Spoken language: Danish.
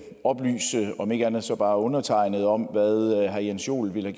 oplyse om ikke andet så bare undertegnede om hvad herre jens joel ville